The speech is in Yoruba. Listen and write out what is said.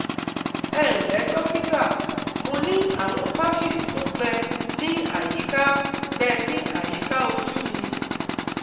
Ẹ ǹlẹ́ dókítà, mo ní àwọn patches tó gbẹ ní àyíká gbẹ ní àyíká ojú mi